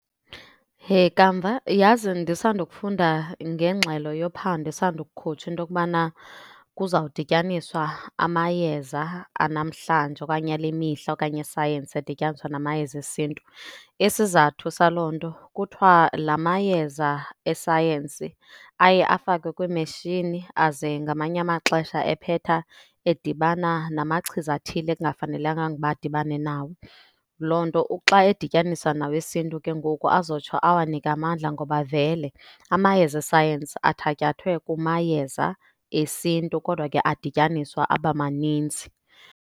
Heh! Kamva yazi ndisanda kufunda ngengxelo yophando esandokukhutshwa into okubana kuzawudityaniswa amayeza anamhlanje okanye ale mihla okanye esayensi adityaniswa namayeza esiNtu. Isizathu saloo nto kuthiwa la mayeza esayensi aye afakwe kwiimetshini, aze ngamanye amaxesha ephetha edibana namachiza athile ekungafanelekanga ukuba adibane nawo. Loo nto xa edityaniswa nawesiNtu ke ngoku azotsho awanike amandla ngoba vele amayeza esayensi athatyathwe kumayeza esiNtu kodwa ke adityaniswa abamaninzi.